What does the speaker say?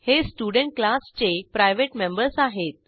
हे स्टुडेंट क्लासचे private members आहेत